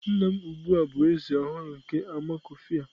Nna m ugbu a bụ Eze ọhụrụ nke Amakufia.